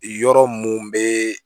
Yɔrɔ mun be